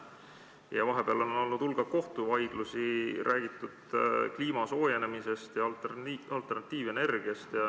Vahepeal on olnud hulk kohtuvaidlusi, on räägitud kliima soojenemisest ja alternatiivenergiast.